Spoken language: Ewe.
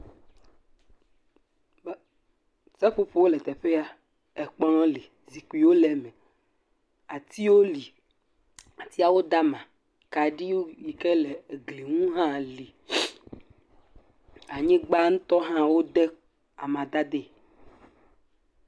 Seƒoƒowo le teƒe ya. Ekplɔ̃ li, zikpiwo li, atiawo da ama. Akaɖi yi ke le egli ŋu hã li. Anyigba ŋutɔ hã, wode amadadee.